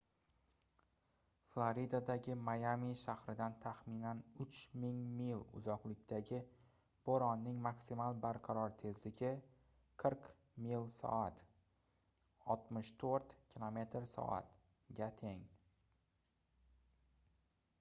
floridadagi mayami shahridan taxminan 3000 mil uzoqlikdagi bo'ronning maksimal barqaror tezligi 40 mil/soat 64 km/s ga teng